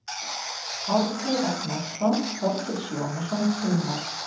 Árni Ragnarsson, Þorgils Jónasson, Hilmar